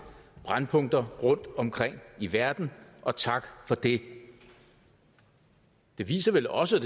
brændpunkter rundtomkring i verden og tak for det den viser vel også